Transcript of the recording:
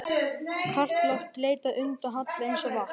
Kalt loft leitar undan halla eins og vatn.